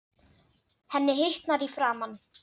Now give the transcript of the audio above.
Henni hitnar í framan.